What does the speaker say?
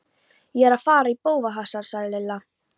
Ég er að fara í bófahasar sagði Lilla.